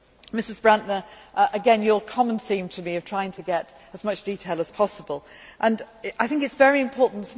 Mrs Brantner, again your common theme to me of trying to get as much detail as possible I think it is very important.